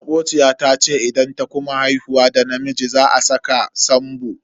Makociya ta tace idan ta kuma haihuwar da namiji za a saka Sambo.